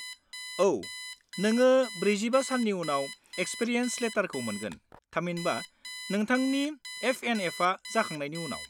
औ, नोङो 45 साननि उनाव एक्सपिरियेन्स लेटारखौ मोनगोन, थामहिनबा नोंथांनि एफएनएफआ जाखांनायनि उनाव।